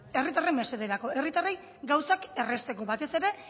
herritarren mesederako herritarrei gauzak errazteko batez ere